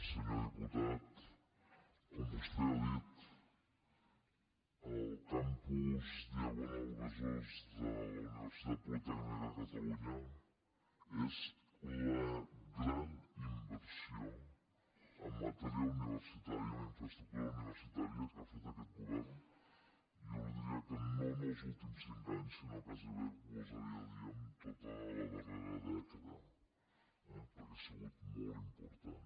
senyor diputat com vostè ha dit el campus diagonal besòs de la universitat politècnica de catalunya és la gran inversió en matèria universitària en infraestructura universitària que ha fet aquest govern jo li diria que no en els últims cinc anys sinó que gairebé gosaria dir en tota la darrera dècada eh perquè ha sigut molt important